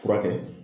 Furakɛ